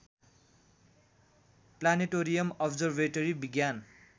planetarium observatory विज्ञान